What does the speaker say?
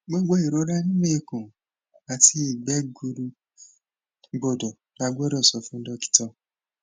gbogbo irora ninu ikun ati igbe gburu gbọdọ lagbodo so fun dokita